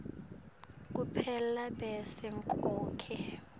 kuphela bese konkhe